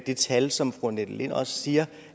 det tal som fru annette lind også siger